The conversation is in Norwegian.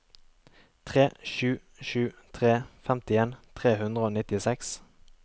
tre sju sju tre femtien tre hundre og nittiseks